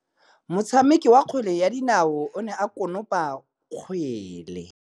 Motshameki wa kgwele ya dinaô o ne a konopa kgwele.